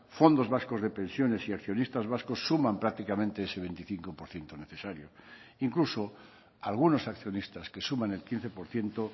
fondos vascos de pensiones y accionistas vascos suman prácticamente ese veinticinco por ciento necesario incluso algunos accionistas que suman el quince por ciento